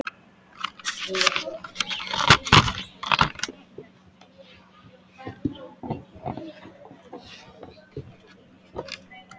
Ég var níutíu kíló og fór að æfa stíft.